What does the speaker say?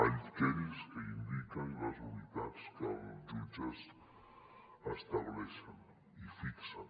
aquells que indiquen i les unitats que els jutges estableixen i fixen